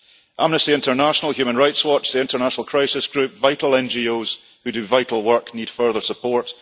Amnesty International, Human Rights Watch, the International Crisis Group, vital NGOs who do vital work need further support